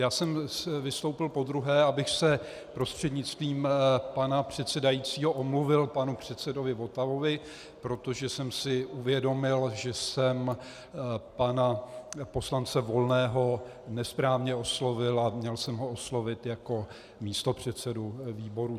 Já jsem vystoupil podruhé, abych se prostřednictvím pana předsedajícího omluvil panu předsedovi Votavovi, protože jsem si uvědomil, že jsem pana poslance Volného nesprávně oslovil a měl jsem ho oslovit jako místopředsedu výboru.